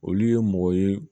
Olu ye mɔgɔ ye